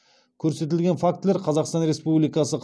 көрсетілген фактілер қазақстан республикасы